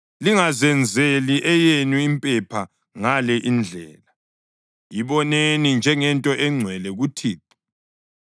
Lingazenzeli eyenu impepha ngale indlela, iboneni njengento engcwele kuThixo.